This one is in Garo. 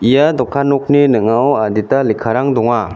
ia dokan nokni ning·ao adita lekkarang donga.